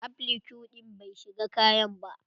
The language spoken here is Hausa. Applique din bai shiga kayan ba.